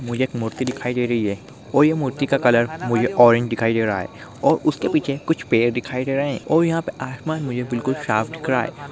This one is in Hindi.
मुझे एक मूर्ति दिखाई दे रही है और यह मूर्ति का कलर मुझे ऑरेंज दिखाई दे रहा है और उसके पीछे कुछ पेड़ दिखाई दे रहे हैं और यहाँ पे आसमान मुझे बिल्कुल साफ दिख रहा है।